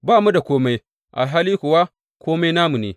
Ba mu da kome, alhali kuwa kome namu ne.